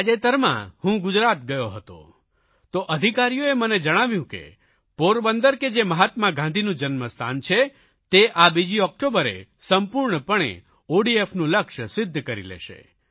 તાજેતરમાં હું ગુજરાત ગયો હતો તો અધિકારીઓએ મને જણાવ્યું કે પોરબંદર કે જે મહાત્મા ગાંધીનું જન્મસ્થાન છે તે આ બીજી ઓકટોબરે સંપૂર્ણપણે ODFનું લક્ષ્ય સિદ્ધ કરી લેશે